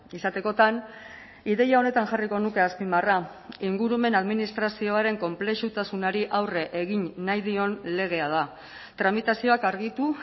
izatekotan ideia honetan jarriko nuke azpimarra ingurumen administrazioaren konplexutasunari aurre egin nahi dion legea da tramitazioak argitu